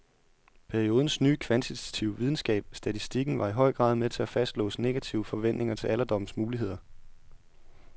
Periodens nye kvantitative videnskab, statistikken, var i høj grad med til at fastlåse negative forventninger til alderdommens muligheder.